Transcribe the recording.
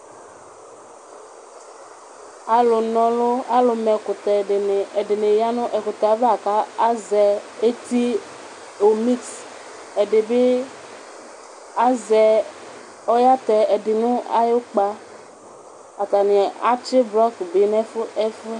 Alʋma ɛkʋtɛ Ɛdini yanʋ ɛkʋtɛ yɛ ava kʋ azɛ eti omiks Ɛdibi ayatɛ ɛdibi nʋ ayʋ ʋkpa, atani atsi blɔk bi nʋ ɛfʋɛ